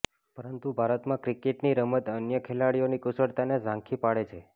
પરંતુ ભારતમાં ક્રિકેટની રમત અન્ય ખેલાડીઓની કુશળતાને ઝાંખી પાડે છે